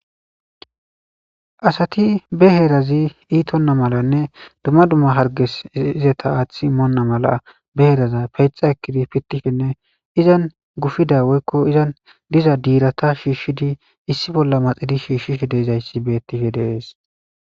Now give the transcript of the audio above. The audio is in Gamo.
asati be heerazi iitonna malanne dumma dumma harges izeta aath immoonna mala be heraza peyxa ekkidi pittishenne izan gufida woykko izan diza diirata shiishshidi issi bolla maxidi shiishshish deezayssi bettifhe deees